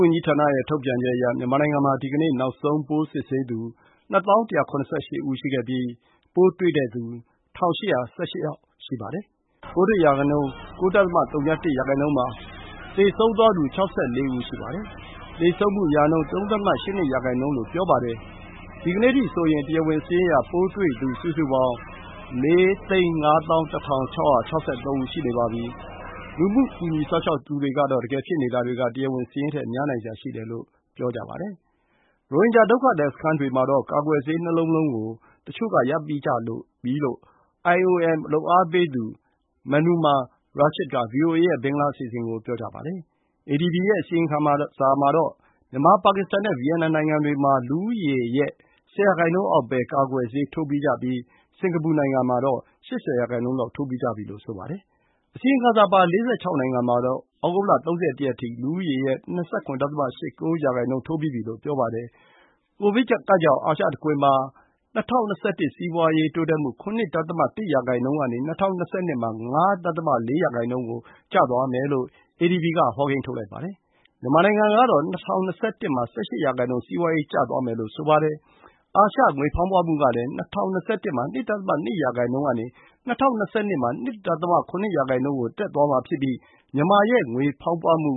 ဝန်ကြီးဌာန ရဲ့ ထုတ်ပြန်ချက် အရ၊ မြန်မာနိုင်ငံ မှာ ဒီကနေ့ နောက်ဆုံး ပိုးစစ်ဆေးသူ ၂၀,၁ရ၈ ဦး ရှိခဲ့ပြီး၊ ပိုးတွေ့သူ ၁,၈၁၈ ဦး ရှိပါတယ်။ ပိုးတွေ့ရာနှုန်း ၉.၀၁ % ပါ။ သေဆုံးသွားသူ ၆၄ ဦး ရှိပါတယ်။ သေဆုံးမှု ရာနှုန်း ၃.၈၂% လို့ ပြောပါတယ်။ ဒီကနေ့ အထိဆိုရင်၊ တရားဝင်စာရင်းအရ၊ ပိုးတွေ့သူ စုစုပေါင်း ၄၅၁, ၆၆၃ ဦး ရှိနေပါပြီ။ လူမှု ကူညီစောင့်ရှောက်သူတွေ ကတော့ တကယ် ဖြစ်နေတာတွေ က တရားဝင် စာရင်းထက် များနိုင်စရာ ရှိတယ်လို့ ပြောကြပါတယ်။ ရိုဟင်ဂျာ ဒုက္ခသည် စခန်းတွေ မှာတော့ ကာကွယ်ဆေး ၂ လုံးလုံး ကို တချိူ့ က ရပြီးကြပြီ လို့ IOM လုပ်အားပေးသူ Mamunur Rashid က VOA ရဲ့ ဘင်္ဂလား အစီအစဉ် ကို ပြောပါတယ်။ အေဒီဘီ ရဲ့ အစီရင်ခံစာမှာတော့ မြန်မာ၊ ပါကစ္စတန် နဲ့ ဗီယက်နမ် နိုင်ငံတွေ မှာ လူဦးရေ နဲ့ ၁၀ % အောက် ပဲ ကာကွယ်ဆေး ထိုးပြီးကြပြီး၊ စင်္ကာပူ နိုင်ငံမှာတော့ ၈၀ % လောက် ထိုးပြီးကြပြီ လို့ ဆိုပါတယ်။ အစီရင်ခံစာပါ ၄၆ နိုင်ငံ မှာတော့ ဩုဂုတ် ၃၁ ရက် အထိ၊ လူဦးရေ ရဲ့ ၂၇.၈၉ % ထိုးပြီးပြီ လို့ ပြောပါတယ်။ ကိုဗစ် ကပ်ကြောင့် အာရှ တခွင် မှာ ၂၀၂၁ ခုနှစ် စီးပွါးရေး တိုးပွါးမှု ၇.၁ % ကနေ ၂၀၂၂ မှာ ၅.၄ % ကို ကျသွားမယ်လို့ ပြောပါတယ်။ မြန်မာနိုင်ငံ ကတော့ ၂၀၂၁ မှာ ၁၈ % စီးပွါးရေး ကျသွားမယ် လို့ အေဒီဘီ က ဆိုပါတယ်။ ငွေဖောင်းပွမှုကလည်း ၂၀၂၁ မှာ ၂.၂ % ကနေ ၂၀၂၂ မှာ ၂.၇ % ကို တက်သွားမယ် လို့ ဆိုပါတယ်။ မြန်မာ ရဲ့ ငွေဖောင်းပွမှု